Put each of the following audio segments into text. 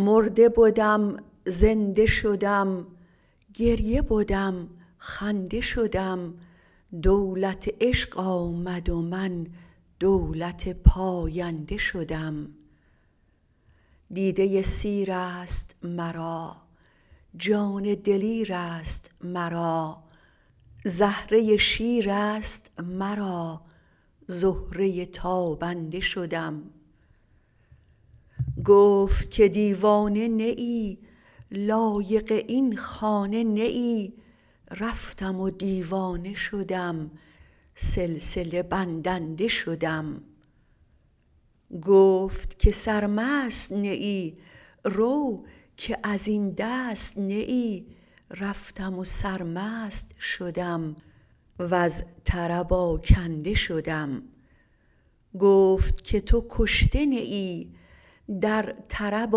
مرده بدم زنده شدم گریه بدم خنده شدم دولت عشق آمد و من دولت پاینده شدم دیده سیر است مرا جان دلیر است مرا زهره شیر است مرا زهره تابنده شدم گفت که دیوانه نه ای لایق این خانه نه ای رفتم دیوانه شدم سلسله بندنده شدم گفت که سرمست نه ای رو که از این دست نه ای رفتم و سرمست شدم وز طرب آکنده شدم گفت که تو کشته نه ای در طرب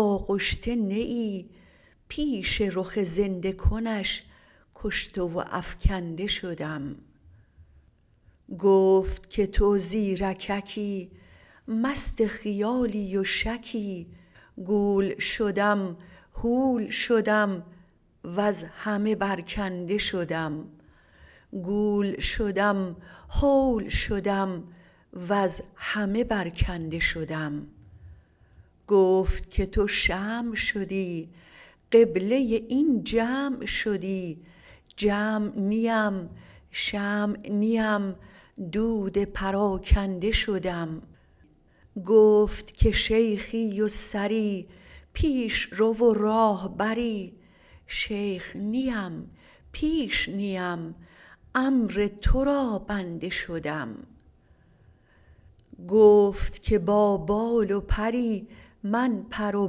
آغشته نه ای پیش رخ زنده کنش کشته و افکنده شدم گفت که تو زیرککی مست خیالی و شکی گول شدم هول شدم وز همه برکنده شدم گفت که تو شمع شدی قبله این جمع شدی جمع نیم شمع نیم دود پراکنده شدم گفت که شیخی و سری پیش رو و راهبری شیخ نیم پیش نیم امر تو را بنده شدم گفت که با بال و پری من پر و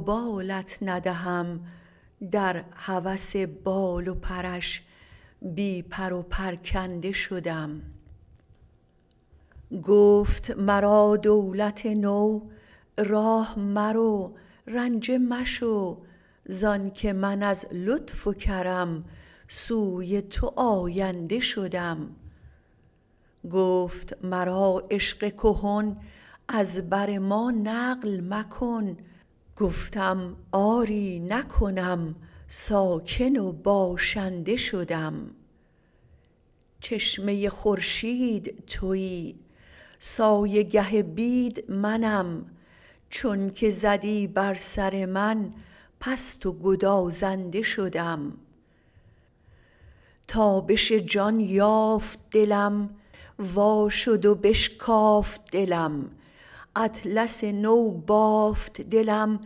بالت ندهم در هوس بال و پرش بی پر و پرکنده شدم گفت مرا دولت نو راه مرو رنجه مشو زانک من از لطف و کرم سوی تو آینده شدم گفت مرا عشق کهن از بر ما نقل مکن گفتم آری نکنم ساکن و باشنده شدم چشمه خورشید تویی سایه گه بید منم چونک زدی بر سر من پست و گدازنده شدم تابش جان یافت دلم وا شد و بشکافت دلم اطلس نو بافت دلم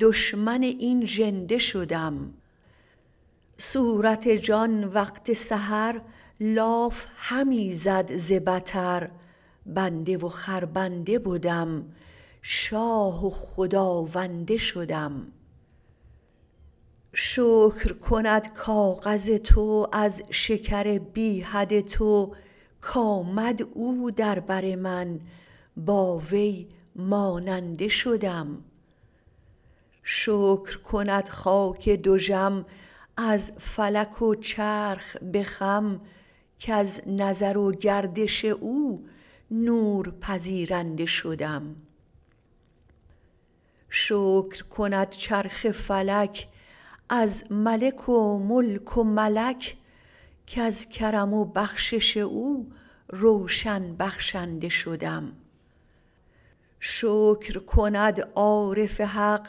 دشمن این ژنده شدم صورت جان وقت سحر لاف همی زد ز بطر بنده و خربنده بدم شاه و خداونده شدم شکر کند کاغذ تو از شکر بی حد تو کآمد او در بر من با وی ماننده شدم شکر کند خاک دژم از فلک و چرخ به خم کز نظر و گردش او نور پذیرنده شدم شکر کند چرخ فلک از ملک و ملک و ملک کز کرم و بخشش او روشن بخشنده شدم شکر کند عارف حق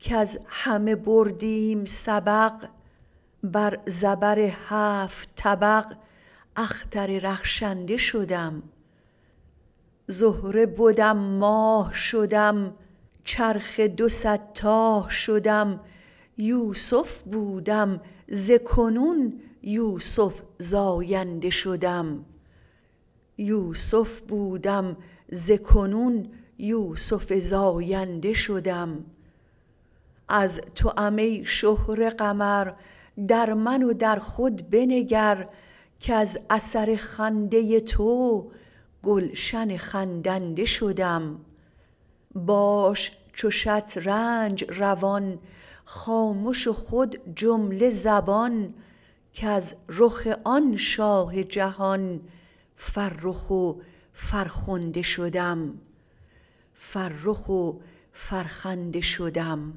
کز همه بردیم سبق بر زبر هفت طبق اختر رخشنده شدم زهره بدم ماه شدم چرخ دو صد تاه شدم یوسف بودم ز کنون یوسف زاینده شدم از توام ای شهره قمر در من و در خود بنگر کز اثر خنده تو گلشن خندنده شدم باش چو شطرنج روان خامش و خود جمله زبان کز رخ آن شاه جهان فرخ و فرخنده شدم